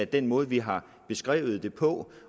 den måde vi har beskrevet det på